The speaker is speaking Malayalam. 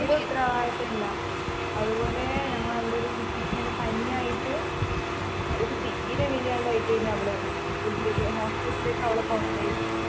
തീരെ ഉത്തരവാദിത്തം ഇല്ല അത്പോലെ ഞങ്ങളവിടൊരു കുട്ടിക്ക് ഇങ്ങനെ പനി ആയിട്ട് അവൾക്ക് തീരെ വയ്യാണ്ടായിട്ടെനു അവള് ഇതിലേക്ക് hospital ലേക്ക് അവളെ കൊണ്ടോയിരുന്നത്